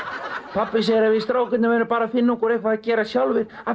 pabbi segir að við strákarnir verðum bara að finna okkur eitthvað að gera sjálfir af